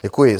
Děkuji.